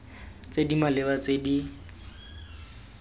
tse di maleba tse di